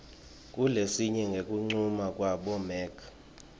kulesinye ngekuncuma kwabomec